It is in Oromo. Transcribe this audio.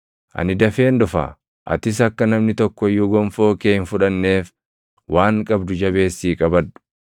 Ani dafeen dhufa. Atis akka namni tokko iyyuu gonfoo kee hin fudhanneef waan qabdu jabeessii qabadhu.